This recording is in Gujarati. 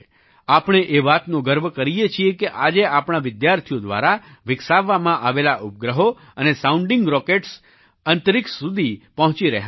આપણે એ વાતનો ગર્વ કરીએ છીએ કે આજે આપણા વિદ્યાર્થીઓ દ્વારા વિકસાવવામાં આવેલા ઉપગ્રહો અને સાઉન્ડિંગ રોકેટ્સ અંતરિક્ષ સુધી પહોંચી રહ્યાં છે